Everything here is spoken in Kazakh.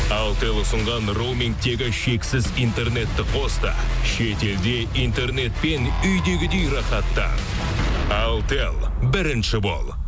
алтел ұсынған роумингтегі шексіз интернетті қос та шетелде интернетпен үйдегідей рахаттан алтел бірінші бол